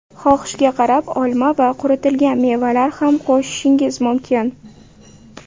Xohishga qarab olma va quritilgan mevalar ham qo‘shishingiz mumkin.